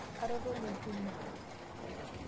Atotonie olchuma.